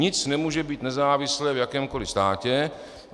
Nic nemůže být nezávislé v jakémkoli státě.